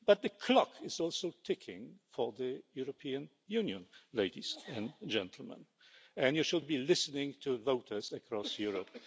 But the clock is also ticking for the European Union, ladies and gentlemen, and you should be listening to voters across Europe.